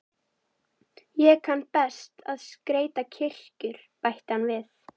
Ég kann því best að skreyta kirkjur, bætti hann við.